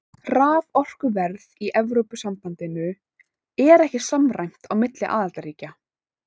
Raforkuverð í Evrópusambandinu er ekki samræmt á milli aðildarríkja.